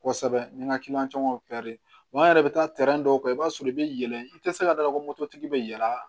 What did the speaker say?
Kosɛbɛ ni n ka kiliyanw pɛrɛnnen don an yɛrɛ bɛ taa dɔw kɛ i b'a sɔrɔ i bɛ yɛlɛ i tɛ se ka da dɔ kotigi bɛ yɛlɛ